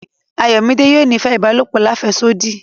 Ayọ̀midé yóò nífẹ̀ ibàlọpò làféṣodí.